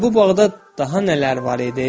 Hə, bu bağda daha nələr var idi?